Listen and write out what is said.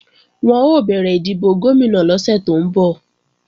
Wọn ó bẹ̀rẹ̀ ìdìbò Gómìnà lọ́sẹ̀ tó ń bọ̀